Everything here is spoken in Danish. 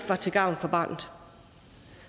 var til gavn for barnet